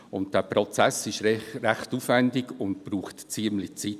Dieser Prozess ist recht aufwendig und braucht ziemlich viel Zeit.